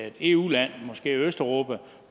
et eu land måske i østeuropa